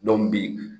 bi